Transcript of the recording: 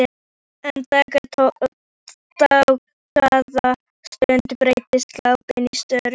Eftir dágóða stund breytist glápið í störu.